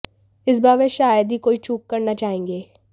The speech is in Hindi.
इस बार वह शायद ही कोई चूक करना चाहेंगे